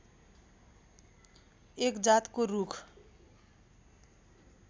एक जातको रूख